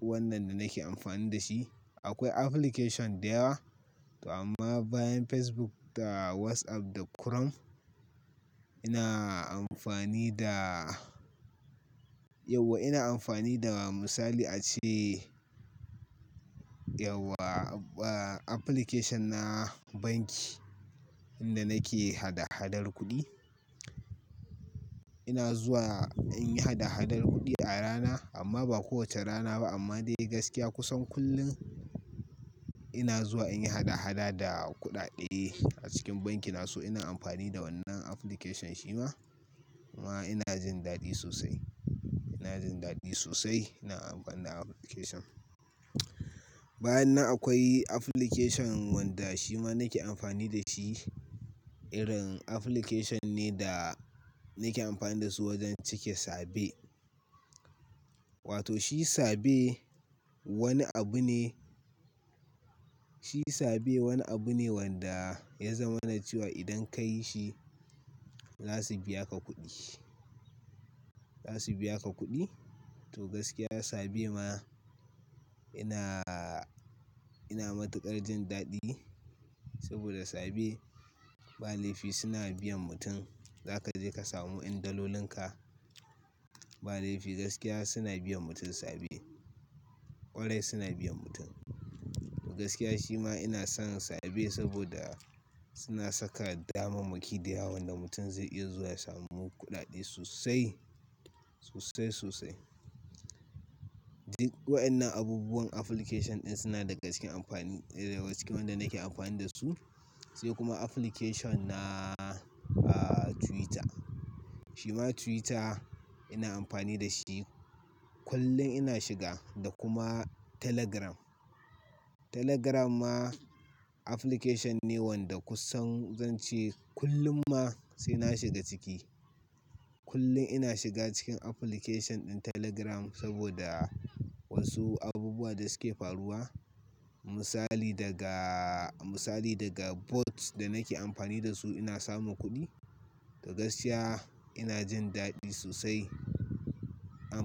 wannan da nake amfani da shi. Akwai application da yawa to amma bayan Facebook da WhatsApp da Chrome ina amfani da yauwa ina amfani da misali a ce, yauwa a-a application na banki inda nake hada-hadar kuɗi. Ina zuwa in yi hada-hadar kuɗi a rana amma ba kowacce rana ba amma dai gaskiya kusan kullum ina zuwa in yi hada-hada da kuɗaɗe a cikin banki na. So ina amfani da wannan application shi ma kuma ina jin daɗi sosai. Ina jin daɗi sosai ina amfani da application. Bayan nan akwai application wanda shi ma nake amfani da shi. Irin application ne da nake amfani da su wajen cike Sabe. Wato shi Sabe wani abu ne, shi Sabe wani abu ne wanda ya zamana cewa idan ka yi shi za su biya ka kuɗi, za su biya ka kuɗi. To gaskiya Sabe ma ina, ina matuƙar jin daɗi saboda Sabe ba lefi suna biyan mutum. Za ka je ka samu yan dalolin ka ba lefi gaskiya suna biyan mutum Sabe. Kwarai suna biyan mutum. Gaskiya shi ma ina son Sabe saboda suna saka damammaki da yawa wanda mutum zai iya zuwa samu kuɗaɗe sosai, sosai, sosai. Wayannan abubuwan application ɗin suna daga cikin amfani, cikin wanda nake amfani da su. Sai kuma application na, a, Twitter. Shi ma Twitter ina amfani da shi. Kullun ina shiga da kuma Telegram. Telegram ma application ne wanda kusan zan ce kullum ma sai na shiga ciki. Kullum ina shiga cikin application ɗin Telegram saboda wasu abubuwa da suke faruwa. Misali daga, misali daga bots da nake amfani da su ina samun kuɗi. Da gaskiya ina jin daɗi sosai am.